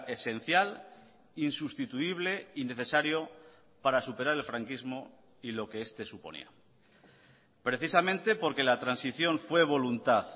esencial insustituible y necesario para superar el franquismo y lo que este suponía precisamente porque la transición fue voluntad